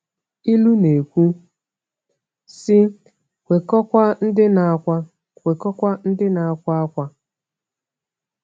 Ilu na-ekwu sị: “Kwekọọkwa ndị na-akwa “Kwekọọkwa ndị na-akwa akwa.”